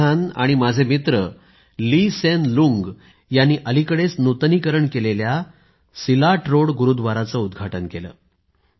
पंतप्रधान आणि माझे मित्र ली सेन लुंग यांनी अलीकडेच नूतनीकरण केलेल्या सिलाट रोड गुरुद्वाराचे उद्घाटन केलं